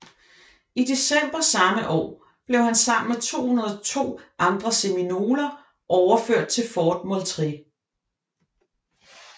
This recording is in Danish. I december samme år blev han sammen med 202 andre seminoler overført til Fort Moultrie